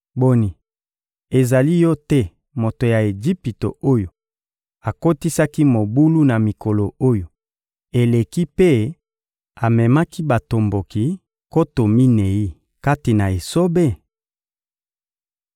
Boni, ezali yo te moto ya Ejipito oyo akotisaki mobulu na mikolo oyo eleki mpe amemaki batomboki nkoto minei kati na esobe?